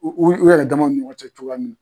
U yɛrɛ damaw ni ɲɔgɔn cɛ cogoya min